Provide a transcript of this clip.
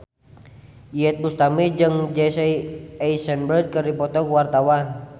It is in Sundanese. Iyeth Bustami jeung Jesse Eisenberg keur dipoto ku wartawan